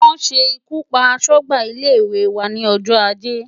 Wọ́n ṣe ikú pa aṣọ́gbà ilé-ìwé wa ní ọjọ́ ajé.